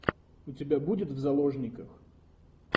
у тебя будет в заложниках